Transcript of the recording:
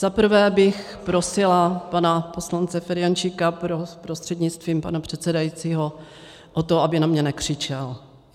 Za prvé bych prosila pana poslance Ferjenčíka prostřednictvím pana předsedajícího o to, aby na mě nekřičel.